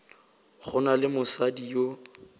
go na le mosadi yo